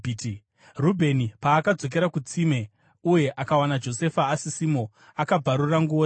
Rubheni paakadzokera kutsime uye akawana Josefa asisimo akabvarura nguo dzake.